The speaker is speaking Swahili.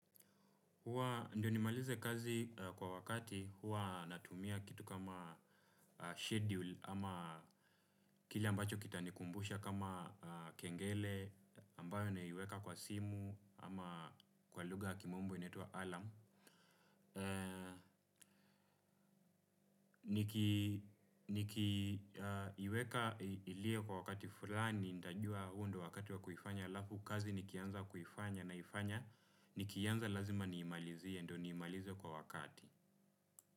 Ndio ni malize kazi kwa wakati, huwa natumia kitu kama schedule ama kile ambacho kita nikumbusha kama kengele ambayo naiweka kwa simu ama kwa lugha ya kimombo inaiwa alarm. Niki iweka ilie kwa wakati fulani, nitajuwa hundo wakati wa kuifanya alafu kazi nikianza kufanya na ifanya nikiianza lazima ni imalize ndio nimalize kwa wakati.